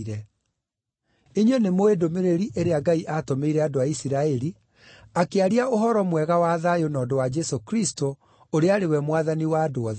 Inyuĩ nĩmũũĩ ndũmĩrĩri ĩrĩa Ngai aatũmĩire andũ a Isiraeli, akĩaria ũhoro mwega wa thayũ na ũndũ wa Jesũ Kristũ, ũrĩa arĩ we Mwathani wa andũ othe.